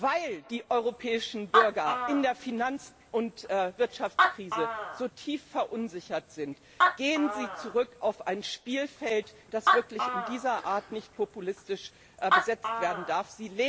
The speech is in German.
Weil die europäischen Bürger in der Finanz und Wirtschaftskrise so tief verunsichert sind, gehen Sie zurück auf ein Spielfeld, das wirklich in dieser Art nicht populistisch besetzt werden darf.